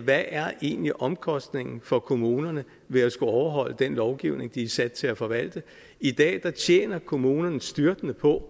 hvad er egentlig omkostningen for kommunerne ved at skulle overholde den lovgivning de er sat til at forvalte i dag tjener kommunerne styrtende på